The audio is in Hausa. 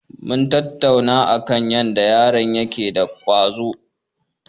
Mun tattauna akan yadda yaron yake da ƙwazo.